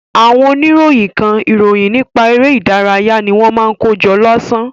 Àwọn oníròyìn kan, ìròyìn nípa eré ìdárayá ni wọ́n máa ń kó jọ lásán.